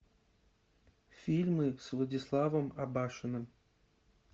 фильмы с владиславом абашиным